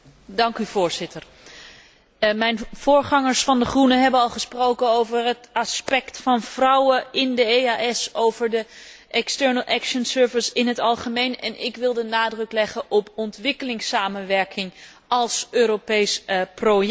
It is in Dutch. Voorzitter, mijn voorgangers van De Groenen hebben al gesproken over het aspect van vrouwen in de EDEO en over de dienst voor extern optreden in het algemeen, en ik wil de nadruk leggen op ontwikkelingssamenwerking als Europees project.